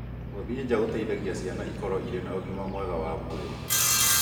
Gũthiĩ nja gũteithagia ciana ikorũo irĩ na ũgima mwega wa mwĩrĩ.